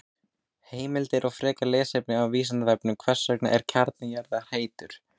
Heimildir og frekara lesefni á Vísindavefnum: Hvers vegna er kjarni jarðar heitur?